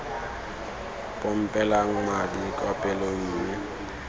pompelang madi kwa pelong mme